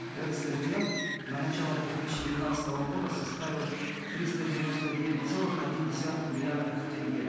на начало две тысячи девятнадцатого года составил триста девяносто девять целых один десятых миллиардов тенге